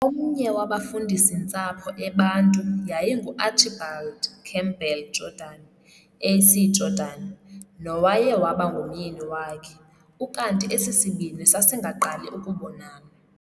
Omnye wabafundisi-ntsapho eBantu yayingu Archibald Campbell Jordan|A.C Jordan, nowaye waba ngumyeni wakhe, ukanti esisibini sasingaqali ukubonana.